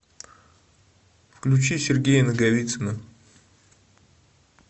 включи сергея наговицына